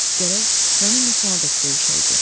Gərək mənimlə sonadək döyüşəydi.